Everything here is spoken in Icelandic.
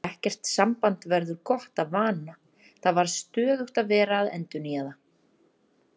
Ekkert samband verður gott af vana, það þarf stöðugt að vera að endurnýja það.